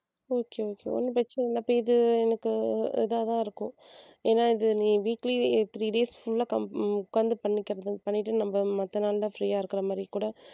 okay okay ஒண்ணும் பிரச்சனை இல்ல அப்ப இது எனக்கு இதாதான் இருக்கும் ஏன்னா நீ இது weekly three days full அ com~ உட்கார்ந்து பண்ணிக்கிறது பண்ணிட்டு நம்ம மத்த நாள்ல free அ இருக்குற மாதிரி கூட